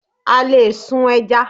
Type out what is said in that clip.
A lè sun ẹja.